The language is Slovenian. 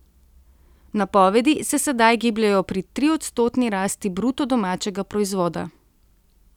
Napovedi se sedaj gibljejo pri triodstotni rasti bruto domačega proizvoda.